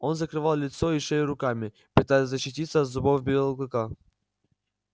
он закрывал лицо и шею руками пытаясь защититься от зубов белого клыка